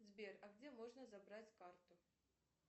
сбер а где можно забрать карту